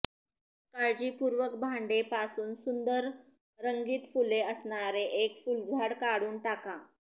काळजीपूर्वक भांडे पासून सुंदर रंगीत फुले असणारे एक फुलझाड काढून टाका